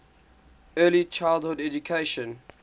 early childhood education